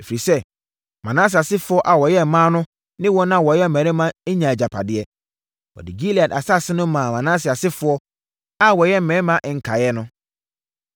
ɛfiri sɛ, Manase asefoɔ a wɔyɛ mmaa no ne wɔn a wɔyɛ mmarima nyaa agyapadeɛ. (Wɔde Gilead asase no maa Manase asefoɔ a wɔyɛ mmarima nkaeɛ no).